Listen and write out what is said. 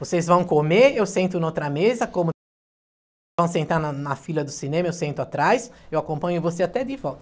Vocês vão comer, eu sento em outra mesa, como... vão sentar na na fila do cinema, eu sento atrás, eu acompanho você até de volta.